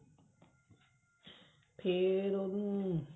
ਫ਼ੇਰ ਉਹਨੂੰ